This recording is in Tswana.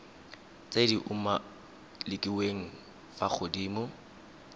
tse di umakiliweng fa godimo